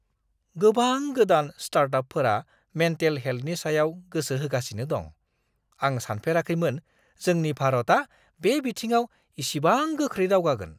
गोबां गोदान स्टार्टआपफोरा मेन्टेल हेल्थनि सायाव गोसो होगासिनो दं! आं सानफेराखैमोन जोंनि भारतआ बे बिथिङाव इसिबां गोख्रै दावगागोन!